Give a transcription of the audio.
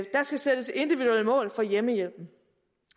skal sættes individuelle mål for hjemmehjælpen